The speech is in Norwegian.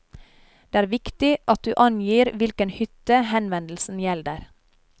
Det er viktig at du angir hvilken hytte henvendelsen gjelder.